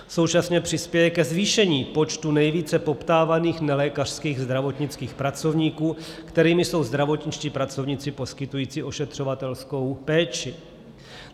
Současně přispěje ke zvýšení počtu nejvíce poptávaných nelékařských zdravotnických pracovníků, kterými jsou zdravotničtí pracovníci poskytující ošetřovatelskou péči.